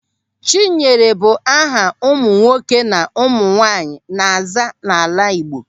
Chinyere bụ aha ụmụ nwoke na ụmụ nwaanyị na-aza n'ala Igbo.